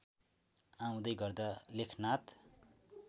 आउँदै गर्दा लेखनाथ